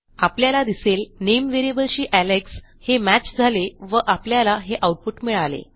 आपल्याला दिसेल नेम व्हेरिएबलशी एलेक्स हे मॅच झाले व आपल्याला हे आऊटपुट मिळाले